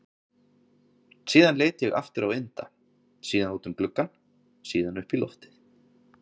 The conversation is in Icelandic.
Síðan leit ég aftur á Inda, síðan út um gluggann, síðan upp í loftið.